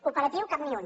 operatiu cap ni un